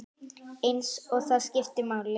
Eins og það skipti máli.